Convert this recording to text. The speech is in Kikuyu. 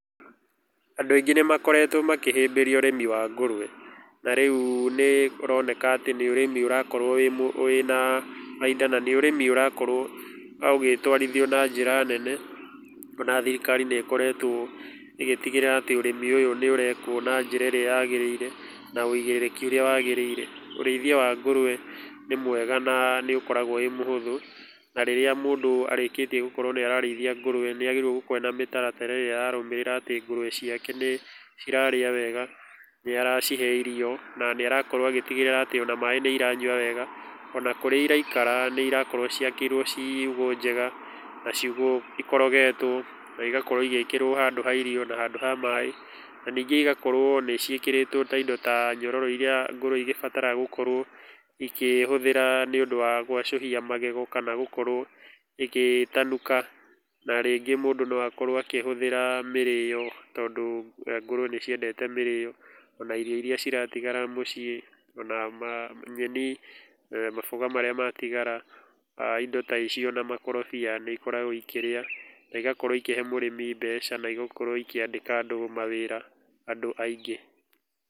Andũ aingĩ nĩ makoretwo makĩhĩmbĩria ũrĩmi wa ngũrũe. Na rĩu nĩ ũroneka atĩ nĩ ũrĩmi ũrakorwo wĩna bainda na nĩ ũrĩmi ũrakorwo ũgĩtũarithio na njĩra nene. Ona thirikari nĩ ĩkoretwo ĩgĩtigĩrĩra atĩ ũrĩmi ũyũ nĩ ũrekwo na njĩra ĩrĩa yagĩrĩire na ũigĩrĩrĩki ũrĩa wagĩrĩire. Ũrĩithia wa ngũrũe nĩ mwega na nĩ ũkoragwo wĩ mũhũthũ na rĩrĩa mũndũ arĩkĩtie gũkorwo nĩ ararĩithia ngũrũe nĩ agĩrĩirwo gũkorwo na mĩtaratara ararũmĩrĩra atĩ ngũrwe ciake nĩ cirarĩa wega, nĩ aracihe irio na nĩ arakorwo agĩtigĩrĩra atĩ ona maĩ nĩ iranyua wega, ona kũrĩa iraikara nĩ irakorwo ciakĩirwo ciugũ njega na ciugũ ikorogetwo, na igakorwo igĩkĩrwo handũ ha irio na handũ ha maĩ. Na ningĩ igakorwo nĩ ciĩkĩrĩtwo ta indo ta nyororo irĩa ngũrũe igĩbataraga gũkorwo ikĩhũthĩra nĩ ũndũ wa gwacũhia magego kana gũkorwo ĩgĩtanuka. Na rĩngĩ mũndũ no akorwo akĩhũthĩra mĩrĩyo, tondũ ngũrũe nĩ ciendete mĩrĩyo, ona irio irĩa ciratigara mũciĩ ona nyeni, mamboga marĩa matigara, indo ta icio na makorobia nĩ ikoragwo ikĩrĩa, na igakorwo ikĩhe mũrĩmi mbeca na igakorwo ikĩandĩka andũ mawĩra, andũ aingĩ.